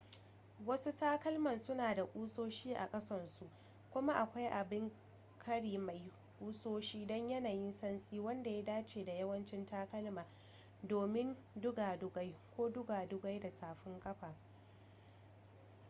wasu takalman suna da ƙusoshi a ƙasansu kuma akwai abin ƙari mai ƙusoshi don yanayin santsi wanda ya dace da yawancin takalma domin dugadugai ko dugadugai da tafin kafa